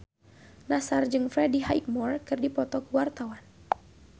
Nassar jeung Freddie Highmore keur dipoto ku wartawan